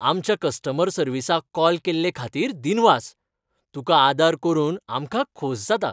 आमच्या कस्टमर सर्विसाक कॉल केल्ले खातीर दिनवास. तुका आदार करून आमकां खोस जाता.